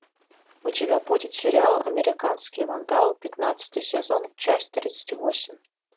у тебя будет сериал американский вандал пятнадцатый сезон часть тридцать восемь